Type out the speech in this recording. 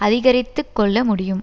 அதிகரித்து கொள்ள முடியும்